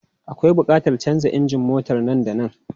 Akwai buƙatar canza injin motar nan da nan.